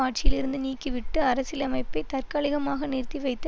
ஆட்சியிலிருந்து நீக்கிவிட்டு அரசியலமைப்பை தற்காலிகமாக நிறுத்திவைத்து